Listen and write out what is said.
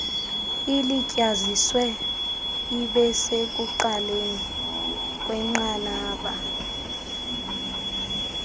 ilityaziswe ibesekuqaleni kwenqanaba